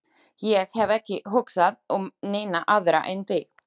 Ég hef ekki hugsað um neina aðra en þig.